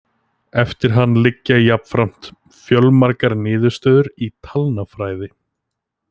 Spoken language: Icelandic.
Eftir hann liggja jafnframt fjölmargar niðurstöður í talnafræði.